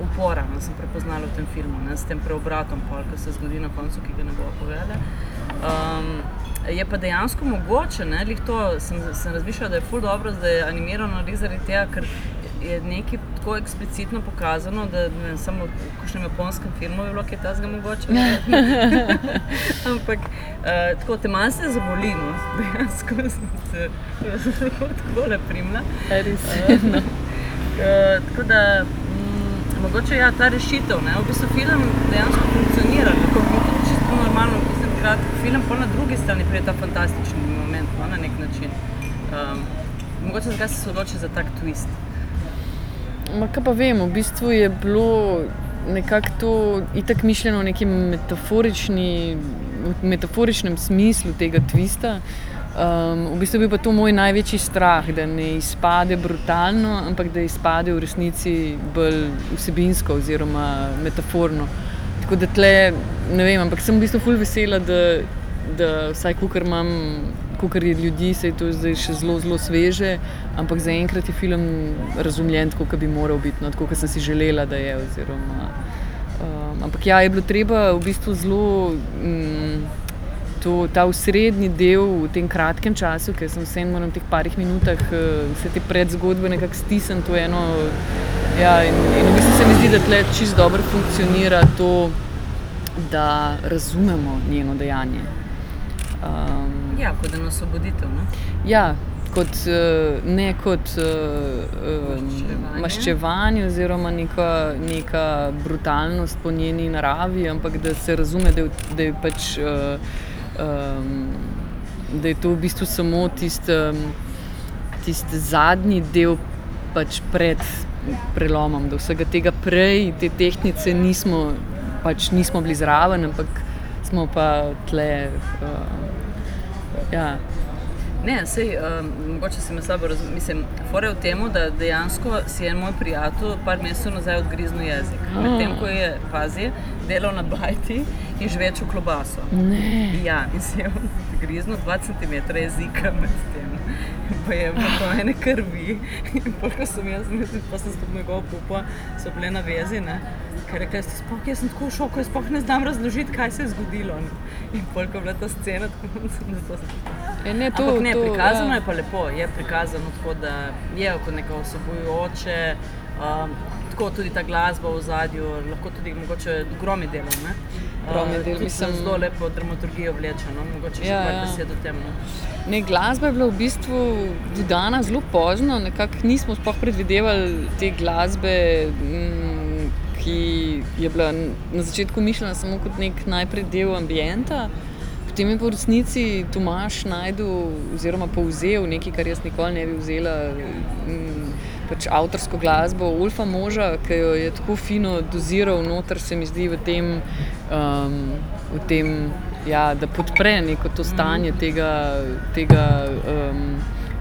upora, ne, sem prepoznala v filmu, ne, s tem preobratom pol, ko se zgodi na koncu, ki ga ne bova povedali. je pa dejansko mogoče, ne, glih to sem razmišljala, da je ful dobro, da je animirano glih zaradi tega, ker je nekaj tako eksplicitno pokazano, da, ne vem, samo v kakšnem japonskem filmu bi bilo kaj takega mogoče. Ampak, tako, te malce zaboli, no, dejansko te, jaz sem se kar takole prijela. A res? No. tako, da, mogoče ja, ta rešitev, ne. V bistvu film dejansko funkcionira. Je to čisto normalno, kakor bi rad. Film pol na drugi strani pride ta fantastični moment, no, na neki način. mogoče, zakaj si se odločila za tak tvist? Ma, kaj pa vem. V bistvu je bilo nekako to itak mišljeno neki metaforični, v metaforičnem smislu tega tvista. v bistvu je bil pa to moj največji strah. Da ne izpade brutalno, ampak da izpade v resnici bolj vsebinsko oziroma metaforno. Tako da tule ne vem, ampak sem v bistvu ful vesela, da, da, vsaj, kolikor imam, kolikor je ljudi, saj to je zdaj še zelo, zelo sveže, ampak zaenkrat je film razumljen tako, ke bi moral biti, no. Tako, ke sem si želela, da je, oziroma, Ampak ja, je bilo treba v bistvu zelo, to, ta osrednji del v tem kratkem času, ko jaz vseeno moram v teh parih minutah, vse te predzgodbe nekako stisniti v eno, ja, in v bistvu se mi zdi, da tule čisto dobro funkcionira to, da razumemo njeno dejanje. Ja, kot eno osvoboditev, ne. Ja. Kot, ne kot, maščevanje oziroma neka brutalnost po njeni naravi, ampak da se razume, da je, da je pač, da je to v bistvu samo tisti, tisti zadnji del pač pred prelomom. Da vsega tega prej, te tehtnice nismo pač nismo bili zraven, ampak smo pa tule, ja. Ne, saj, mogoče si me slabo mislim, fora je v tem, da dejansko si je en moj prijatelj par mesecev nazaj odgriznil jezik, medtem ko je, pazi, delal na bajti in žveču klobaso. Ne. Ja. In si je odgriznil dva centimetra jezika medtem. In to je bilo ene krvi. In po, ko sem jaz, pol sem s to njegovo pupo vse bile na vezi, ne, ker je rekla: "Jaz sploh, jaz sem tako v šoku, jaz sploh ne znam razložiti, kaj se je zgodilo, ne." In pol, ko je bila ta scena . Ja, ne. To, to ... Ampak ne, prikazano je pa lepo. Je prikazano prikazano tako, da je kot neko vsebujoče, tako, tudi ta glasba v ozadju. Lahko tudi mogoče, Grom je delal, ne? Grom je delal. Mislim ... Zelo lepo dramaturgijo vleče, no. Mogoče še par besed o tem, no. Ja, ja. Ne, glasba je bila v bistvu dodana zelo pozno. Nekako nismo sploh predvidevali te glasbe, ki je bila na začetku mišljena samo kot neki najprej del ambienta, potem je pa v resnici Tomaž našel oziroma povzel nekaj, kar jaz nikoli ne bi vzela, pač avtorsko glasbo Volfa Moža, ke jo je tako fino doziral noter, se mi zdi, v tem, v tem, ja, da podpre neko to stanje tega, tega,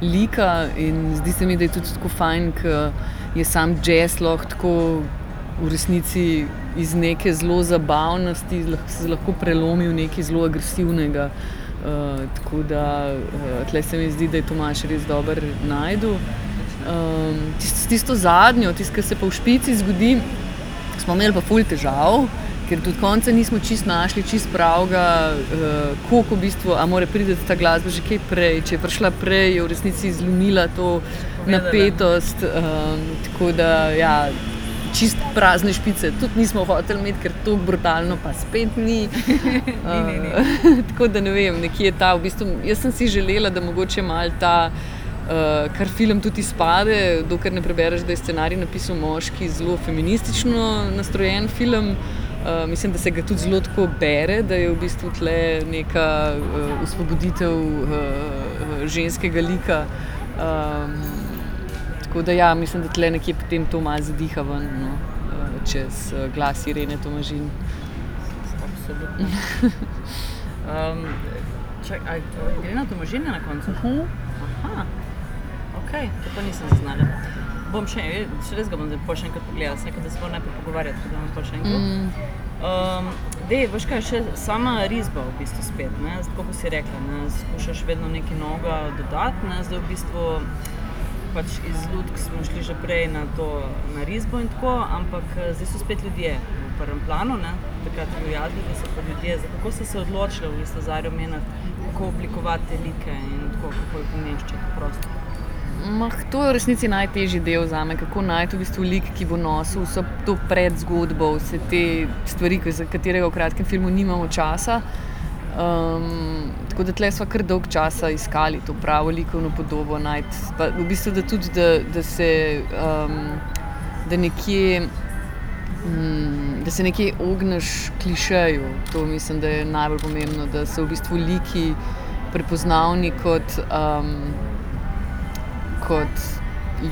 lika, in zdi se mi, da je tudi tako fajn, ke je samo džez lahko tako v resnici iz neke zelo zabavnosti se lahko prelomi v nekaj zelo agresivnega. tako da, tule se mi zdi, da je Tomaž res dobro našel. s tisto zadnjo, ke se pa v špici zgodi, smo imeli pa ful težav, ker do konca čisto nismo našli čisto pravega, koliko v bistvu, a more priti ta glasba že kaj prej. Če je prišla prej, je v resnici zlomila to napetost, Tako da ja, čisto prazne špice tudi nismo hoteli imeti, ker tako brutalno pa spet ni. Ni, ni, ni. Tako da ne vem, nekje ta v bistvu, jaz sem si želela, da mogoče malo ta, ker film tudi izpade, dokler ne prebereš, da je scenarij napisal moški, zelo feministično nastrojen film. mislim, da se ga tudi zelo tako bere, da je v bistvu tule neka, osvoboditev, ženskega lika. tako da ja, mislim, da tule nekje potem to malo izdiha ven, no, čez glas Irene Tomažin. Absolutno. čakaj, a Irena Tomažin je na koncu? Okej. To pa nisem zaznala. Bom še res ga bom zdaj pol še enkrat pogledala. Sem rekla, da se moram najprej pogovarjati, pa gledam pol še enkrat. daj, boš, kaj še? Sama risba v bistvu spet, ne. Tako, kot si rekla, ne, skušaš vedno nekaj novega dodati, ne. Zdaj v bistvu pač iz lutk smo šli že prej na to, na risbo in tako, ampak, zdaj so spet ljudje v prvem planu, ne. Takrat divjadi, zdaj so pa ljudje. Kako si se odločila v bistvu z Zarjo Menart, kako oblikovati te like in tako, kako jih umeščati v prostor? to je v resnici najtežji del zame, kako najti v bistvu lik, ki bo nosil vso to predzgodbo, vse te stvari, za katere v kratkem filmu nimamo časa. tako da tule sva kar dolgo časa iskali to pravo likovno podobo najti. Pa v bistvu da tudi, da, da se, da nekje, da se nekje ogneš klišeju. To mislim, da je najbolj pomembno. Da so v bistvu liki prepoznavni kot, kot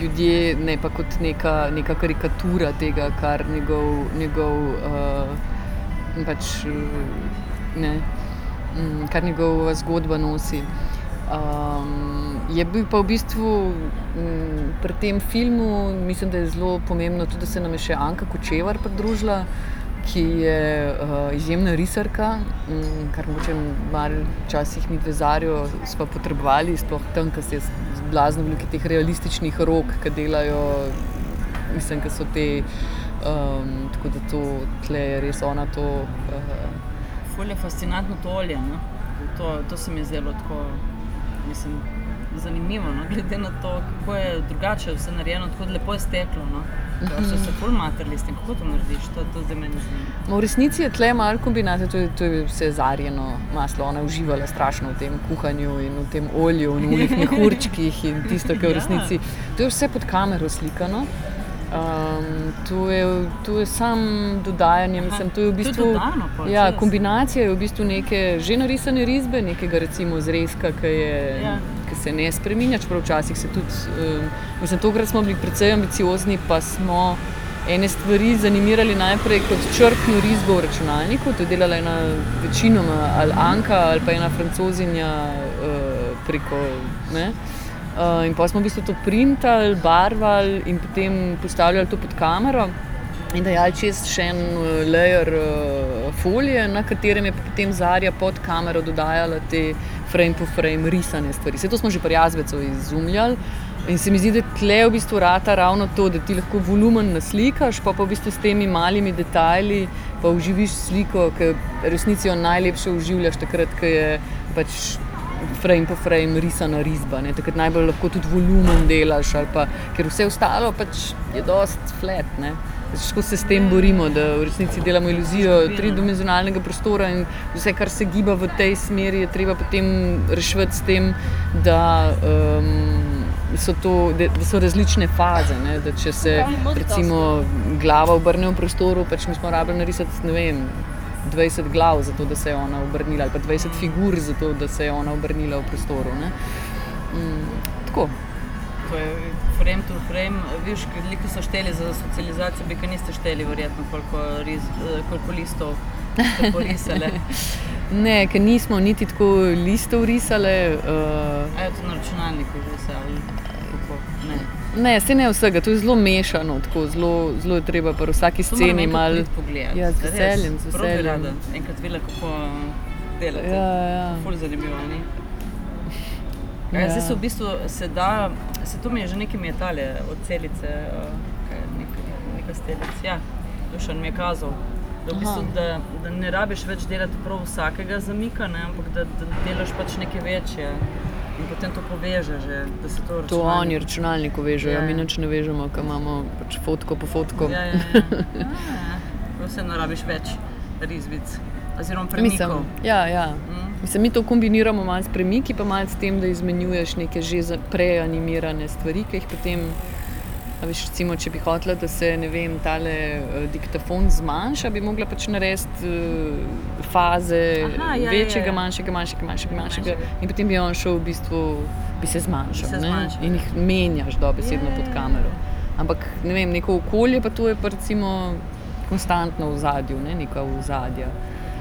ljudje, ne pa kot neka, neka karikatura tega, kar njegov, njegov, pač, ne. kar njegova zgodba nosi. je bil pa v bistvu, pri tem filmu mislim, da je zelo pomembno tudi, da se nam je še Anka Kočevar pridružila, ki je, izjemna risarka, kar mogoče malo včasih midve z Zarjo sva potrebovali, sploh tam, kjer se je blazno veliko teh realističnih rok, ke delajo, mislim, ker so te, tako da to, tule je res ona to, Ful je fascinantno to olje, ne. To, to se mi je zdelo tako, mislim, zanimivo, no, glede na to, kako je drugače vse narejeno. Tako lepo je steklo, no. So se ful matrali s tem? Kako to narediš? To zdaj mene zanima. Ma v resnici je tule malo kombinacija. To je, to je vse Zarjino maslo. Ona je uživala strašno v tem kuhanju in v tem olju in v onih mehurčkih in tisto, ko v resnici. To je vse pod kamero slikano, to je, to je samo dodajanje, mislim, to je v bistvu ... To je dodano? Ja, kombinacija je v bistvu neke že narisane risbe, nekega recimo zrezka, ko je, ko se ne spreminja, čeprav včasih se tudi, mislim, tokrat smo bili precej ambiciozni pa smo ene stvari zanimirali najprej kot črtno risbo v računalniku, to je delala ena, večinoma ali Anka ali pa ena Francozinja, preko, ne, in pol smo v bistvu to printali, barvali in potem postavljali to pod kamero in dajali čez še en, layer, folije, na katerem je pa potem Zarja pod kamero dodajala te frame to frame risane stvari. Saj to smo že pri Jazbecu izumljali. In se mi zdi, da tule v bistvu rata ravno to. Da ti lahko volumen naslikaš, pol pa v bistvu s temi malimi detajli pa oživiš sliko, ki v resnici jo najlepše oživljaš takrat, ko je pač frame po frame risana risba, ne, takrat najbolj lahko tudi volumen delaš, ali pa. Kar vse ostalo pač je dosti flat, ne. Pač tako se s tem borimo, da v resnici delamo iluzijo tridimenzionalnega prostora in vse, kar se giba v tej smeri, je treba potem reševati s tem, da, so to, da so različne faze, ne, da če se recimo glava obrne v prostoru, pač moraš, smo rabili narisati, ne vem, dvajset glav, zato da se je ona obrnila, ali pa dvajset figur, zato da se je ona obrnila v prostoru, ne. tako. To je frame to frame, virški liki so šteli za socializacijo, vi pa niste šteli verjetno, koliko koliko listov ste porisale? Ne, ker nismo niti tako listov risale. to je na računalniku že vse, ali kako? Ne? Ne, saj ne vsega. To je zelo mešano, tako zelo, zelo je treba pri vsaki To moram enkrat priti pogledat, res, prav bi rada. sceni malo ... Ja, z veseljem, z veseljem. Enkrat videla, kako delate. Ja, ja. Ful zanimivo, ni? Zdaj so v bistvu, se da, saj to mi je že nekaj, mi je tale od Celice, kaj je, ni Kastelic? Ja. Dušan mi je kazal, da v bistvu, da, da ne rabiš več delati prav vsakega zamika, ne, ampak da delaš pač neke večje in potem to povežeš že. Da se to ... To oni v računalniku vežejo. Mi nič ne vežemo, ko imamo pač fotko po fotko. Ja, ja, ja. vseeno rabiš več risbic. Mislim, ja, ja. Oziroma premikov. Mislim, mi to kombiniramo malo s premiki pa malo s tem, da izmenjuješ neke že prej animirane stvari, ke jih potem, a veš, recimo, če bi hotela, da se, ne vem, tale, dikatfon zmanjša, bi mogla pač narediti, faze. Večjega, manjšega, manjšega, manjšega, manjšega. In potem bi on šli v bistvu Bi se zmanjšali. Ja, ja, ja. bi se zmanjšali, ne. In jih menjaš dobesedno pod kamero. Ampak, ne vem, neko okolje pa to je pa recimo konstantno v ozadju, ne, neka ozadja.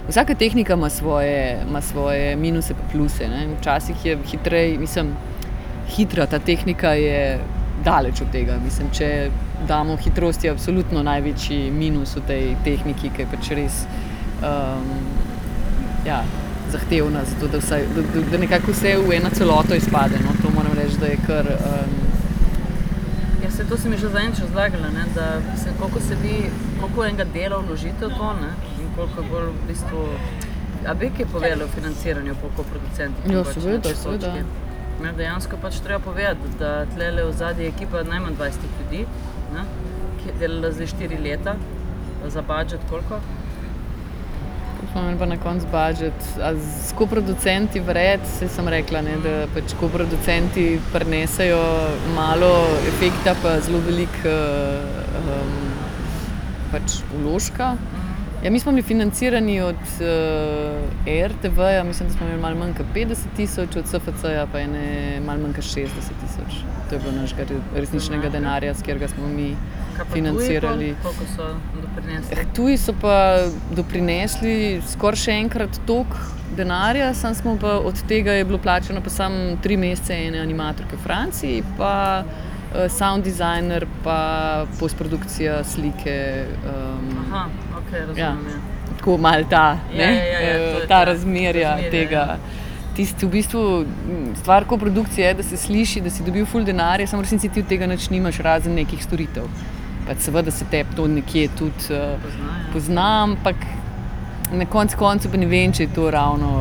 Vsaka tehnika ima svoje, ima svoje minuse in pluse, ne. Včasih je hitreje, mislim, hitra ta tehnika je daleč od tega. Mislim, če damo hitrost je absolutno največji minus v tej tehniki, ker je pač res, ja, zahtevna, zato da vsaj, da nekako vse v eno celoto izpade, no. To moram reči, da je kar, Ja, saj to si mi že zadnjič razlagala, ne, da, mislim, koliko se vi, koliko enega dela vložite v to, ne, in koliko je pol v bistvu ... A bi kaj povedala o financiranju pa okoli producentov pač na tej točki? Ja, seveda, seveda. Ne, dejansko je pač treba povedati, da tulele odzadaj je ekipa najmanj dvajsetih ljudi, ne, ki je delala zdaj štiri leta za budget koliko? Smo imeli pa na koncu budget, a s koproducenti vred? Saj sem rekla, ne, da pač koproducenti prinesejo malo efekta pa zelo veliko, pač vložka. Ja, mi smo bili financirani od, RTV-ja mislim, da smo imeli malo manj kot petdeset tisoč, od SFC-ja pa ene malo manj kot šestdeset tisoč. To je bilo našega resničnega denarja, s katerega smo mi Kaj pa tuji pol? Koliko so financirali. doprinesli? tuji so pa doprinesli skoraj še enkrat toliko denarja, samo smo pa od tega je bilo plačano pa samo tri mesece ene animatorke v Franciji pa, sound dizajner pa postprodukcija slike, okej, razumem, ja. Tako, malo ta Ja, ja, ja, ja. To je, razmerja, ja. ne, ta razmerja tega. Tisto v bistvu, stvar koprodukcije je, da se sliši, da si dobil ful denarja, samo v resnici ti od tega nič nimaš, razen nekih storitev. Pač seveda se tebi to nekje tudi, Pozna, ja. pozna, ampak na koncu koncev pa ne vem, če je to ravno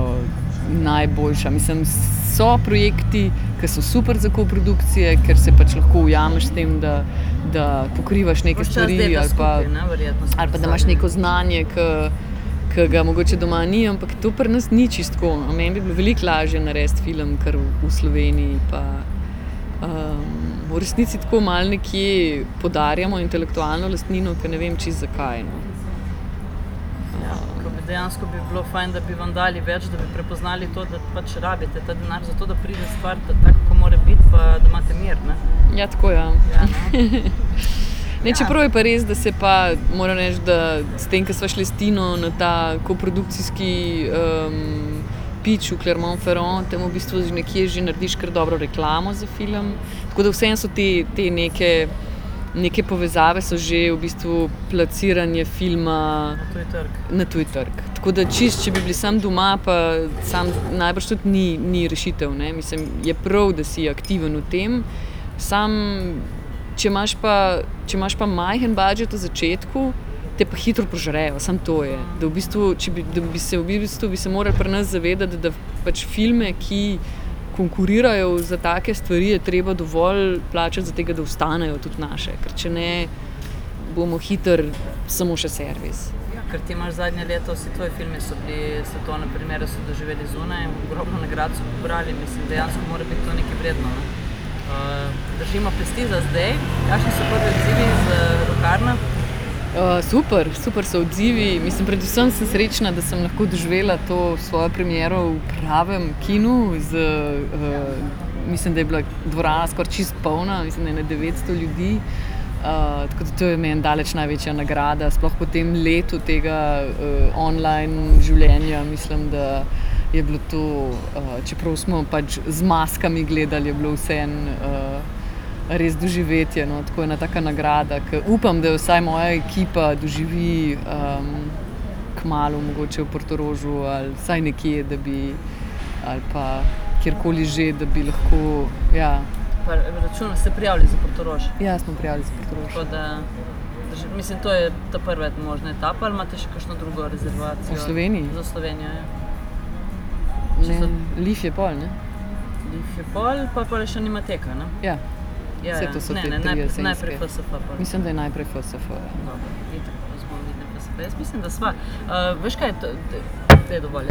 najboljša. Mislim, so projekti, ke so super za koprodukcije, kar se pač lahko ujameš s tem, da, da pokrivaš Ves čas delaš skupaj, ne, verjetno. stvari ali pa. Ali pa da imaš neko znanje, ke, ke ga mogoče doma ni, ampak tu pri nas ni čisto tako. Meni bi bilo veliko lažje narediti film kar v Sloveniji pa, v resnici tako malo nekje podarjamo intelektualno lastnino, ker ne vem čisto, zakaj, no. Ja, ke bi, dejansko bi bilo fajn, da bi vam dali več, da bi prepoznali to, da pač rabite ta denar zato, da pride stvar ven taka, ko more biti, pa da imate mir, ne. Ja, tako, ja. Ne, čeprav je pa res, da se pa, moram reči, da s tem, ke sva šla s Tino na ta koprodukcijski, pitch v Clermont-Ferrand, tam v bistvu nekje že narediš kar dobro reklamo za film. Tako da vseeno so te, te neke, neke povezave so že v bistvu plasiranje filma Tudi trg. na tuji trg. Tako da čisto, če bi bili samo doma pa samo, najbrž tudi ni, ni rešitev, ne. Mislim, je prav, da si aktiven v tem, samo če imaš pa, če imaš pa majhen budget na začetku, te pa hitro požrejo, samo to je. Da v bistvu, če bi se v bistvu bi se morali pri nas zavedati, da pač filme, ki konkurirajo za take stvari, je treba dovolj plačati, zaradi tega, da ostanejo tudi naše. Ker če ne, bomo hitro samo še servis. Ker ti imaš zadnje leto, vsi tvoji filmi so bili, svetovno premiero so doživeli zunaj, ogromno nagrad so pobrali. Mislim, dejansko mora biti to nekaj vredno, ne. držimo pesti za zdaj. Kakšni so prvi odzivi iz, Locarna? super. Super so odzivi. Mislim, predvsem sem srečna, da sem lahko doživela to svojo premiero v pravem kinu, z, mislim, da je bila dvorana skoraj čisto polna. Mislim, da ene devetsto ljudi. tako da to je meni daleč največja nagrada. Sploh po tem letu tega, online življenja, mislim, da je bilo to, čeprav smo pač z maskami gledal, je bilo vseeno, res doživetje, no. Tako, ena taka nagrada, k upam, da jo vsaj moja ekipa doživi, kmalu mogoče v Portorožu ali vsaj nekje, da bi ali pa kjerkoli že, da bi lahko, ja. Pa računaš se prijaviti za Portorož? Ja, smo prijavili za Portorož. Tako da, mislim, to je ta prva možna etapa ali imate šel kako drugo rezervacijo? V Sloveniji? Za v Slovenijo, ja. Ne. Liffe je pol, ne? Liffe je pol, pol pa je še Animateka, ne? Ja. Ja, ja. Ne, ne, ne. Najprej je FSF pol. Saj to so te tri jesenske. Mislim, da je najprej FSF, ja. Dobro, itak pol se vidimo na FSF. Jaz mislim, da sva. veš, kaj? daj, dovolj je.